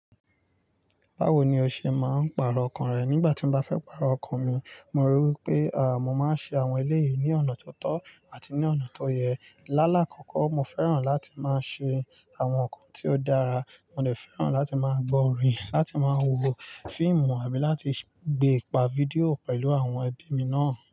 Báwo ni o ṣe máa ń pàrọ̀ ọkàn rẹ nígbà tí o bá fẹ́ pàrọ̀ ọkàn mi? Mo rí i pé, àáa, mo máa ń ṣe àwọn eléyìí ní ọ̀nà tó tọ́ àti ní ọ̀nà tó yẹ. Lálá kọ̀ọ̀kan, mo fẹ́ràn láti máa ṣe àwọn nǹkan tí ó dára, mo de fẹ́ràn láti máa gbọ́ orin, láti máa wo fíìmù àbí láti gbé pa fídíò pẹ̀lú àwọn ẹbí mi náà.